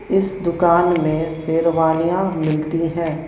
इस दुकान में शेरवानियां मिलती हैं।